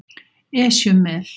Esjumel